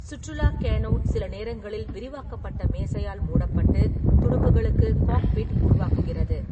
சுற்றுலாக் canoe சில நேரங்களில் விரிவாக்கப்பட்ட மேசையால் மூடப்பட்டு, துடுப்புகளுக்கு 'காக்பிட்' உருவாக்குகிறது.